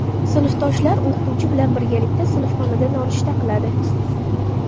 Sinfdoshlar o‘qituvchi bilan birgalikda sinfxonada nonushta qiladi.